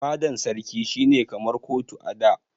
Fadan sarki shi ne kamar kotu a da.